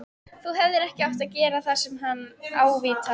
Þú hefðir ekki átt að gera það sagði hann ávítandi.